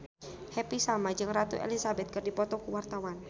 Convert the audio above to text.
Happy Salma jeung Ratu Elizabeth keur dipoto ku wartawan